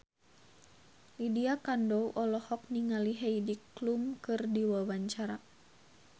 Lydia Kandou olohok ningali Heidi Klum keur diwawancara